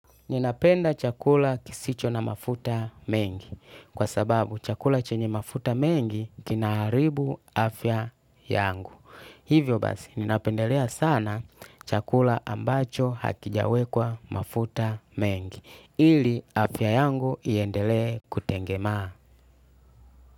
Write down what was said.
Ninapenda chakula kisicho na mafuta mengi kwa sababu chakula chenye mafuta mengi kinaharibu afya yangu. Hivyo basi ninapendelea sana chakula ambacho hakijawekwa mafuta mengi ili afya yangu iendelee kutengemaa.